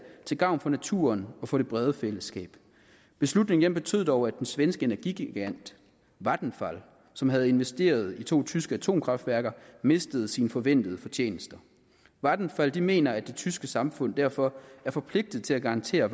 til gavn for naturen og for det brede fællesskab beslutningen betød dog at den svenske energigigant vattenfall som havde investeret i to tyske atomkraftværker mistede sine forventede fortjenester vattenfall mener at det tyske samfund derfor er forpligtet til at garantere